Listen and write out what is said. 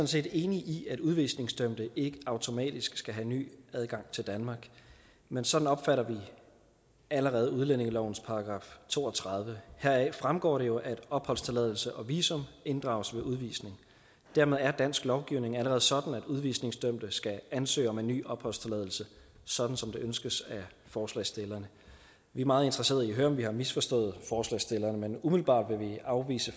set enige i at udvisningsdømte ikke automatisk skal have ny adgang til danmark men sådan opfatter vi allerede udlændingelovens § to og tredive heraf fremgår det jo at opholdstilladelse og visum inddrages ved udvisning dermed er dansk lovgivning allerede sådan at udvisningsdømte skal ansøge om en ny opholdstilladelse sådan som det ønskes af forslagsstillerne vi er meget interesseret i at høre om vi har misforstået forslagsstillerne men umiddelbart vil vi afvise